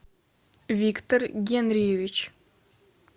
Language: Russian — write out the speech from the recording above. виктор генриевич